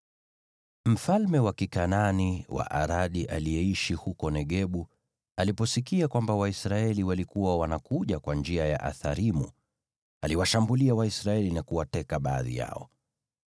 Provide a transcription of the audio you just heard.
Mfalme wa Kikanaani wa Aradi aliyeishi huko Negebu aliposikia kwamba Waisraeli walikuwa wanakuja kwa njia ya Atharimu, aliwashambulia Waisraeli na kuwateka baadhi yao.